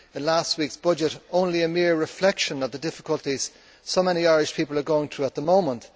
The last week's budget was only a mere reflection of the difficulties so many Irish people are going through at the moment.